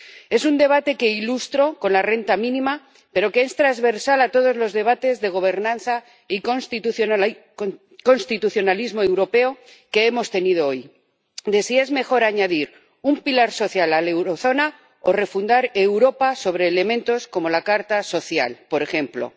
Es un debate que ilustro con la renta mínima, pero que es transversal a todos los debates de gobernanza y constitucionalismo europeo que hemos tenido hoy, de si es mejor añadir un pilar social a la eurozona o refundar Europa sobre elementos como la Carta Social, por ejemplo.